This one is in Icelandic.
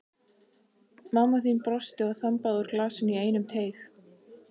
Mamma þín brosti og þambaði úr glasinu í einum teyg.